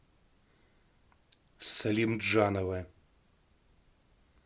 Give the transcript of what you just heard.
салимджанова